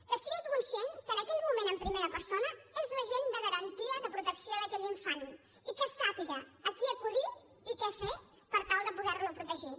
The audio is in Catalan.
que sigui conscient que en aquell moment en primer persona és l’agent de garantia de protecció d’aquell infant i que sàpiga a qui acudir i què fer per tal de poder lo protegir